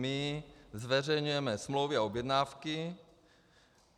My zveřejňujeme smlouvy a objednávky.